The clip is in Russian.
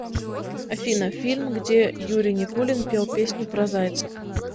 афина фильм где юрий никулин пел песню про зайцев